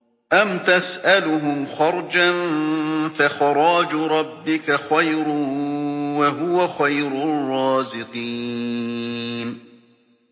أَمْ تَسْأَلُهُمْ خَرْجًا فَخَرَاجُ رَبِّكَ خَيْرٌ ۖ وَهُوَ خَيْرُ الرَّازِقِينَ